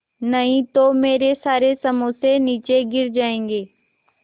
नहीं तो मेरे सारे समोसे नीचे गिर जायेंगे